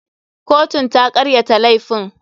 Kotun ta karyata laifin.